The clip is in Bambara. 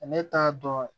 Ne t'a dɔn